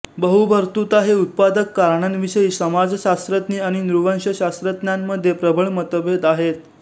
बहुभर्तृता चे उत्पादक कारणांविषयी समाजशास्त्रज्ञ आणि नृवंशशास्त्रज्ञांमध्ये प्रबल मतभेद आहेत